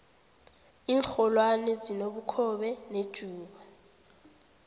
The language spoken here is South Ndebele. inxholwane zinobukhobe nejuba